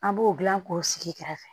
An b'o dilan k'o sigi kɛrɛfɛ